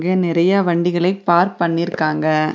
இங்க நெறைய வண்டிகளை பார்க் பண்ணிருக்காங்க.